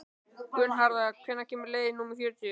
Gunnharða, hvenær kemur leið númer fjörutíu?